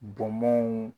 Bɔnbɔnw